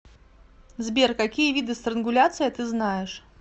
сбер какие виды странгуляция ты знаешь